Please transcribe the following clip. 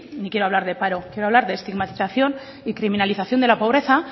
ni quiero hablar de paro quiero hablar de estigmatización y criminalización de la pobreza